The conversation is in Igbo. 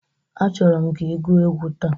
Achọrọ m ka ị gụọ egwu taa!